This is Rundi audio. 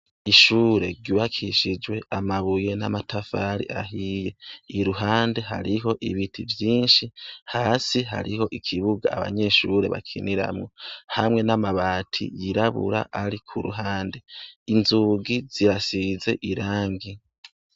Ishure ryubakishijwe amabuye n' amatafari ahiye. Iruhande hariho ibiti vyinshi, hasi hariho ikibuga abanyeshure bakiniramwo hamwe n' amabati yirabura ari ku ruhande. Inzugi zirasize irangi.